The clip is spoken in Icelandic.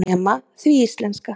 Nema því íslenska.